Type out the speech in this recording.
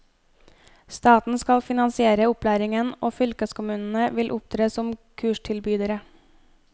Staten skal finansiere opplæringen, og fylkeskommunene vil opptre som kurstilbydere.